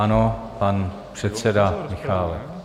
Ano, pan předseda Michálek.